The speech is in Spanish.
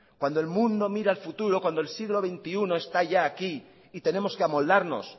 cuando el mundo mira al futuro cuando el siglo veintiuno está ya aquí y tenemos que amoldarnos